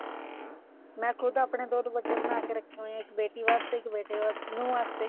ਮੈਂ ਖੁਦ ਆਪਣੇ ਦੋ ਦੁਪੱਟੇ ਬਣਾ ਕੇ ਰੱਖੇ ਹੋਏ ਆ ਇੱਕ ਬੇਟੀ ਵਾਸਤੇ ਇੱਕ ਬੇਟੇ ਨੂੰਹ ਵਾਸਤੇ